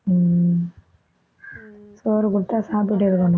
உம் சோறு கொடுத்தா சாப்பிட்டுட்டே இருக்கணும்